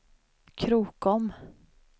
Krokom